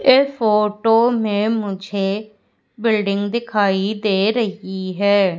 ये फोटो में मुझे बिल्डिंग दिखाई दे रही है।